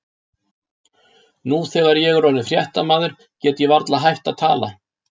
Nú þegar ég er orðinn fréttamaður get ég varla hætt að tala.